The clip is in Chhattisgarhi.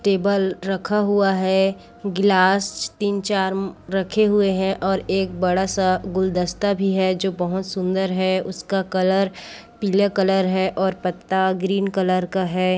टेबल रखा हुआ है ग्लास तीन-चार रखे हुए है और एक बड़ा सा गुलदस्ता भी है जो बहुत सुंदर है उसका कलर पीला कलर है और पत्ता ग्रीन कलर का है।